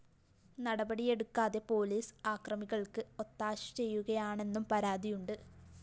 നടപടിയെടുക്കാതെ police അക്രമികള്‍ക്ക് ഒത്താശ ചെയ്യുകയാണെന്നും പരാതിയുണ്ട്